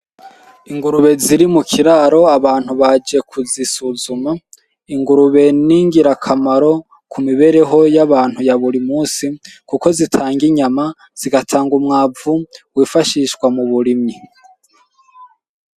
Ingurube ziri mukiraro abantu baje kuzisuzuma, ingurube n'ingirakamaro kumibereho y'abantu ya buri munsi kuko zitanga inyama zigatanga umwavu wifashishwa muburimyi.